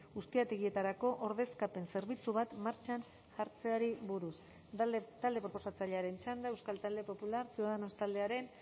ustiategietarako ordezkapen zerbitzu bat martxan jartzeari buruz talde proposatzailearen txanda euskal talde popular ciudadanos taldearen